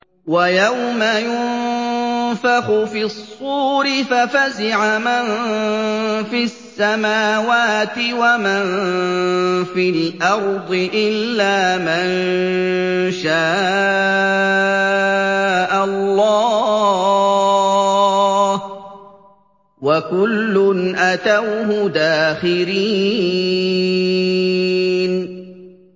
وَيَوْمَ يُنفَخُ فِي الصُّورِ فَفَزِعَ مَن فِي السَّمَاوَاتِ وَمَن فِي الْأَرْضِ إِلَّا مَن شَاءَ اللَّهُ ۚ وَكُلٌّ أَتَوْهُ دَاخِرِينَ